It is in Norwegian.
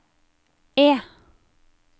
E